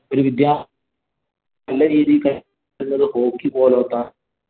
ഒരു വിദ്യാർത്ഥി നല്ല രീതിയിൽ hockey പോലോത്ത